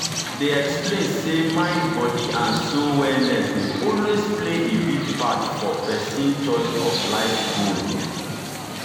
they explain say mind body and soul wellness dey also play a big part for person choice of life goal.